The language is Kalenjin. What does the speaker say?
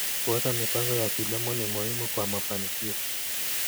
Kuweka mipango ya kilimo ni muhimu kwa mafanikio.